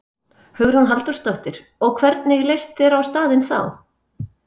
Hugrún Halldórsdóttir: Og, hvernig leist þér á staðinn þá?